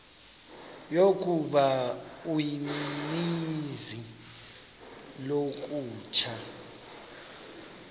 yokuba uninzi lolutsha